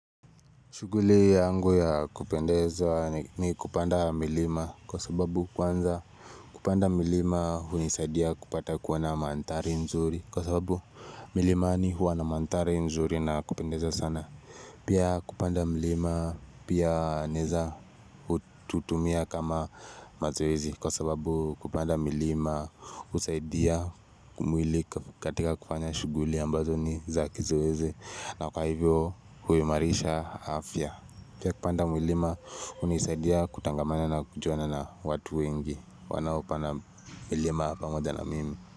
Shughuli yangu ya kupendeza ni kupanda milima kwa sababu kwanza kupanda milima hunisaidia kupata kuona na mandhari nzuri kwa sababu milimani huwa na mandhari nzuri na kupendeza sana. Pia kupanda milima pia naeza hututumia kama mazoezi kwa sababu kupanda milima husaidia mwili katika kufanya shughuli ambazo ni za kizoezi na kwa hivyo huimarisha afya. Pia kupanda milima hunisaidia kutangamana na kujuana na watu wengi wanaopanda milima pamoja na mimi.